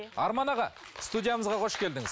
арман аға студиямызға қош келдіңіз